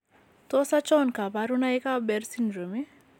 Tos achon kabarunaik ab Behr syndrome ?